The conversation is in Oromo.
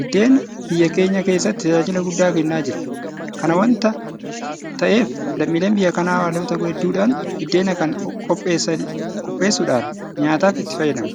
Biddeen biyya keenya keessatti tajaajila guddaa kennaa jira. Kana waanta ta'eef lammiileen biyya kanaa haalota hedduudhaan biddeen kana qopheessuudhaan nyaataaf itti fayyadamu.